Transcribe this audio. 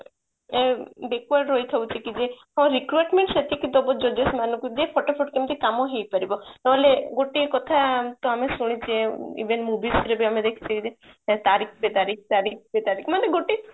required ରହି ଥାଉଛି କି ଯେ ହଁ requirement ସେତିକି ଦବ ଯଦି ସେମାନଙ୍କୁ ବି ଫଟାଫଟ କେମିତି କାମ ହେଇ ପାରିବ ନହେଲେ ଗୋଟେ କଥା ତ ଆମେ ଶୁଣିଛେ even movies ରେ ବି ଆମେ ଦେଖିଛେ କି ତାରିଖ ପେ ତାରିଖ ତାରିଖ ପେ ତାରିଖ ମାନେ ଗୋଟେ